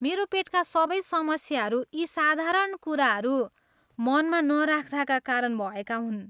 मेरो पेटका सबै समस्याहरू यी साधारण कुराहरू मनमा नराख्दाका कारण भएका हुन्।